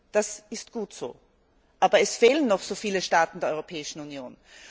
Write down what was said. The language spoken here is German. Das ist gut so, aber es fehlen noch so viele Staaten der Europäischen Union.